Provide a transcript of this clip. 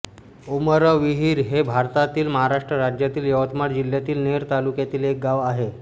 उमरविहीर हे भारतातील महाराष्ट्र राज्यातील यवतमाळ जिल्ह्यातील नेर तालुक्यातील एक गाव आहे